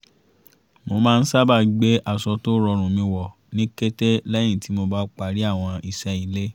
mo má ń sábà gbé aṣọ tó rọrùn mi wọ̀ ní kété lẹ́yìn tí mo bá parí àwọn iṣẹ́ ilé